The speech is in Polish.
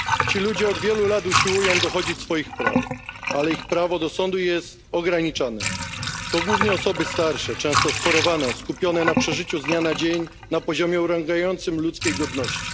Ci ludzie od wielu lat usiłują dochodzić swoich praw, ale ich prawo do sądu jest ograniczone. To głównie osoby starsze, często schorowane, skupione na przeżyciu z dnia na dzień na poziomie urągającym ludzkiej godności.